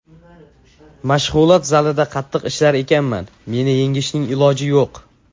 Mashg‘ulot zalida qattiq ishlar ekanman, meni yengishning iloji yo‘q.